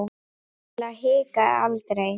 Til að hika aldrei.